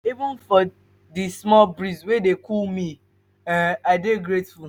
even for di small breeze wey dey cool me um i dey grateful.